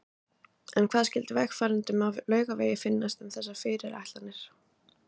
En hvað skyldi vegfarendum á Laugavegi finnast um þessar fyrirætlanir?